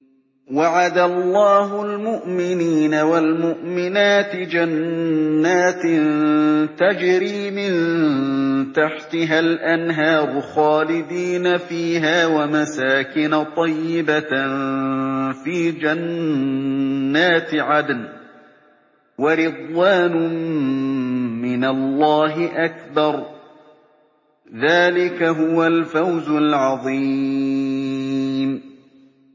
وَعَدَ اللَّهُ الْمُؤْمِنِينَ وَالْمُؤْمِنَاتِ جَنَّاتٍ تَجْرِي مِن تَحْتِهَا الْأَنْهَارُ خَالِدِينَ فِيهَا وَمَسَاكِنَ طَيِّبَةً فِي جَنَّاتِ عَدْنٍ ۚ وَرِضْوَانٌ مِّنَ اللَّهِ أَكْبَرُ ۚ ذَٰلِكَ هُوَ الْفَوْزُ الْعَظِيمُ